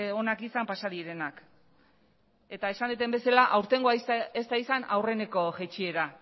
onak izan pasa direnak eta esan dudan bezala aurtengoa ez da izan aurreneko jaitsiera